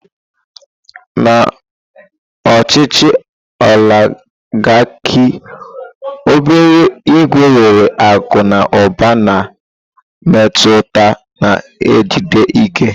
Na ochichi oligarki obere ìgwè nwere akụ na ụba na mmetụta na-ejide ike.